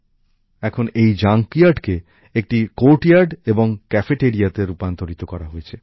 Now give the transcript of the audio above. এখন এই জাঙ্ক ইয়ার্ডকে একটি কোর্টইয়ার্ড এবং একটি ক্যাফেটেরিয়াতে রূপান্তরিত করা হয়েছে